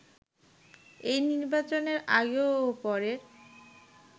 এই নির্বাচনের আগে ও পরের